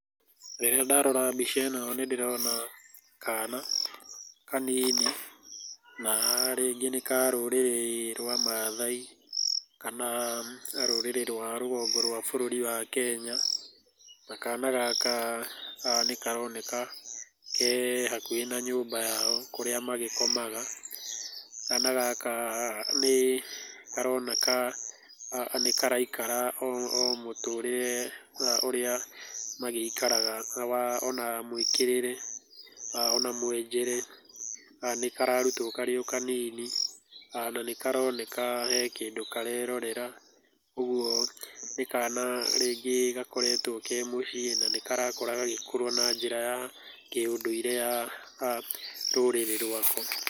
Rĩrĩa ndĩrarora mbica ĩno nĩ ndĩrona, kana kanini, na rĩngĩ nĩ ka rũũrĩrĩ rwa Maathai kana rũrĩrĩ rwa rũgongo rwa Bũrũri wa Kenya. Na kana gaka, nĩ karoneka ke hakũhĩ na nyũmba yao kũrĩa magĩkomaga. Kana gaka nĩ karoneka, nĩkaraikara o mũtũrĩre, ũrĩa magĩikara ona mũĩkĩrĩre ona mũenjere. Nĩ kararutwo o karĩo kanini na nĩkaroneka he kĩndũ karerorera. Ũguo nĩ kana rĩngĩ gakoretwo ke mũciĩ na nĩ karakorũo gagĩkũra na njĩra ya kĩ ũndũire ya rũrĩrĩ rwako.